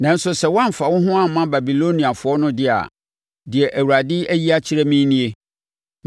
Nanso sɛ woamfa wo ho amma Babiloniafoɔ no de a, deɛ Awurade ayi akyerɛ me nie: